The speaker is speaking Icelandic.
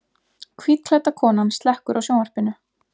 Hvítklædda konan slekkur á sjónvarpinu.